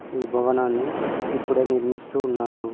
ఈ భవనాన్ని ఇప్పుడే నిర్మిస్తూ ఉన్నారు.